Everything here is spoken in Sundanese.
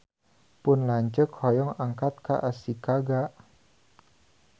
Pun lanceuk hoyong angkat ka Ashikaga